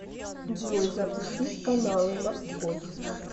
джой запустить каналы морской